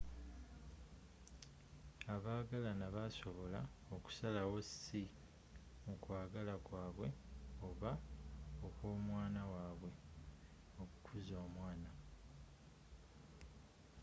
abagalana basobola okusalawo si mu kwagala kwa bwe oba okw’omwana w’abwe, okukuza omwana